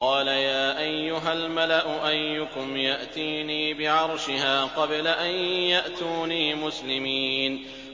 قَالَ يَا أَيُّهَا الْمَلَأُ أَيُّكُمْ يَأْتِينِي بِعَرْشِهَا قَبْلَ أَن يَأْتُونِي مُسْلِمِينَ